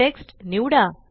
text निवडा